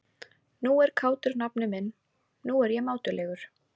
Nú er kátur nafni minn, nú er ég mátulegur.